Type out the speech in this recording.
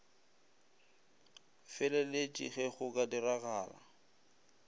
feleletše ge go ka diragala